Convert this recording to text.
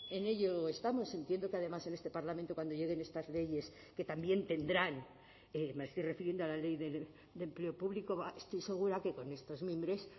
en ello estamos entiendo que además en este parlamento cuando lleguen estas leyes que también tendrán me estoy refiriendo a la ley de empleo público estoy segura que con estos mimbres